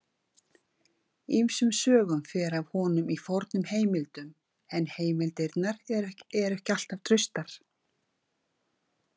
Ýmsum sögum fer af honum í fornum heimildum en heimildirnar eru ekki alltaf traustar.